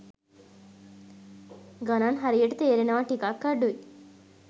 ගණන් හරියට තේරෙනවා ටිකක් අඩුයි.